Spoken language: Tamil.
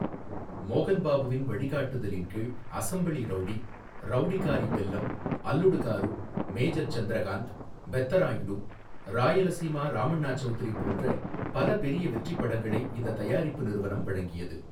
மோகன் பாபுவின் வழிகாட்டுதலின் கீழ், அசெம்பிளி ரவுடி, ரவுடிகாரி பெல்லம், அல்லுடு காரு, மேஜர் சந்திரகாந்த், பெத்தராயுடு, ராயலசீமா ராமண்ணா சவுத்ரி போன்ற பல பெரிய வெற்றிப் படங்களை இந்தத் தயாரிப்பு நிறுவனம் வழங்கியது.